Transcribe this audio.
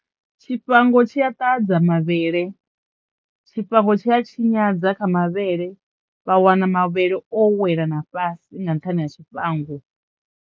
Tshifhango tshi a ṱahadza mavhele, tshifhango tshi a tshinyadza kha mavhele vha wana mavhele o wela na fhasi nga nṱhani ha tshifhango.